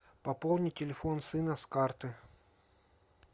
пополни телефон сына с карты